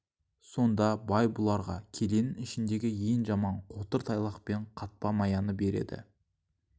сонда бай бұларға келенің ішіндегі ең жаман қотыр тайлақ пен қатпа маяны береді